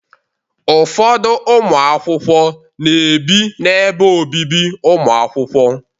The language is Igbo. Ụfọdụ ụmụ akwụkwọ na-ebi n'ebe obibi ụmụ akwụkwọ.